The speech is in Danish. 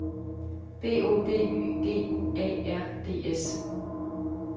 B O D Y G U A R D S